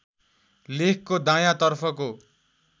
लेखको दायाँ तर्फको